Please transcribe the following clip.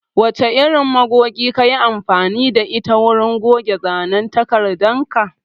Wace irin magogi kayi amfani da ita wurin goge zanen takardar ka?